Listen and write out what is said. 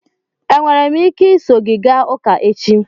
Enwere m ike iso gị gaa ụka echi?